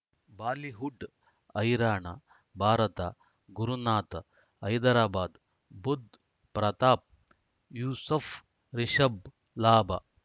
Bollywood ಹೈರಾಣ ಭಾರತ ಗುರುನಾಥ ಹೈದರಾಬಾದ್ ಬುಧ್ ಪ್ರತಾಪ್ ಯೂಸುಫ್ ರಿಷಬ್ ಲಾಭ